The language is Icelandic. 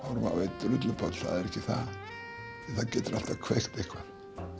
á einn drullupoll það getur alltaf kveikt eitthvað